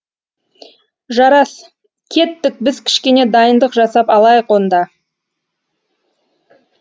жарас кеттік біз кішкене дайындық жасап алайық онда